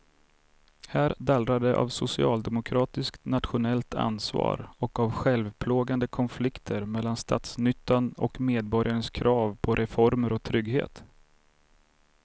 Här dallrar det av socialdemokratiskt nationellt ansvar och av självplågande konflikter mellan statsnyttan och medborgarnas krav på reformer och trygghet.